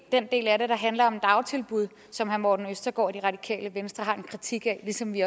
den del af det der handler om dagtilbud som herre morten østergaard og det radikale venstre har en kritik af ligesom vi